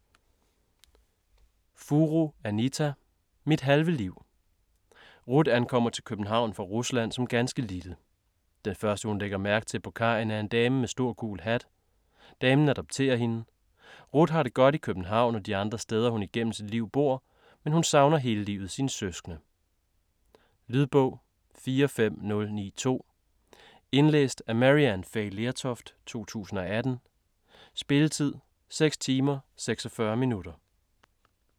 Furu, Anita: Mit halve liv Ruth kommer til København fra Rusland som ganske lille. Den første hun lægger mærke til på kajen er en dame med en stor gul hat. Damen adopterer hende. Ruth har det godt i København og de andre steder hun igennem sit liv bor, men hun savner hele livet sine søskende. Lydbog 45092 Indlæst af Maryann Fay Lertoft, 2018. Spilletid: 6 timer, 46 minutter.